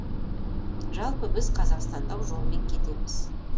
жалпы біз қазақстандық жолмен кетеміз